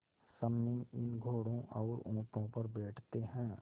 सम्मी इन घोड़ों और ऊँटों पर बैठते हैं